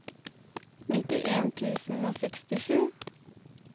nittien tusen og sekstisju